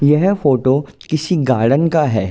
यह फोटो किसी गार्डन का हैं।